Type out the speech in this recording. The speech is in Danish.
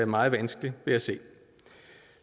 meget vanskeligt ved at se